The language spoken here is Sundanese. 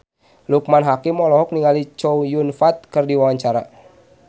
Loekman Hakim olohok ningali Chow Yun Fat keur diwawancara